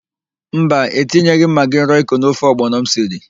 Mba, etinyeghị m magị roịko n'ofe ọgbọnọ m siri.